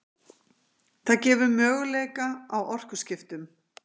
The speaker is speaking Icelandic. það gefur möguleika á orkuskiptum